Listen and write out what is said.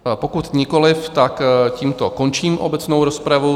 Pokud nikoli, tak tímto končím obecnou rozpravu.